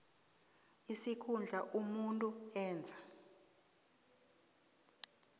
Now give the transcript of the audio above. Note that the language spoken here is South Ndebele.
isikhundla umuntu enza